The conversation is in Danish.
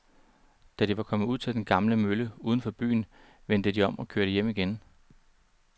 Da de var kommet ud til den gamle mølle uden for byen, vendte de om og kørte hjem igen.